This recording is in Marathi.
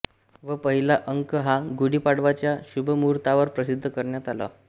व पहिला अंक हा गुढीपाडव्याच्या शुभमुहूर्तावर प्रसिद्ध करण्यात आला